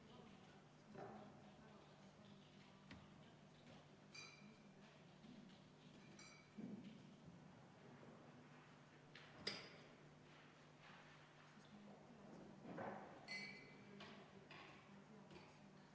V a h e a e g